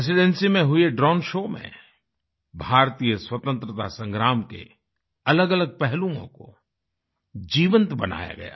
residency में हुए drone show में भारतीय स्वतंत्रता संग्राम के अलगअलग पहलुओं को जीवंत बनाया गया